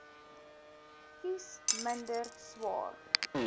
kies minder swaar